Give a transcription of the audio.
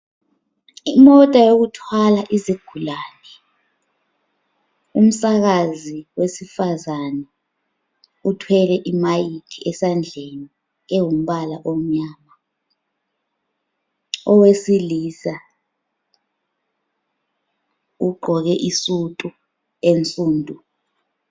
Imota yokuthwala izigulane umsakazi wesifazana uthwele imayikhi esandleni engumbala omnyama. Owesilisa ugqoke isudu ensundu.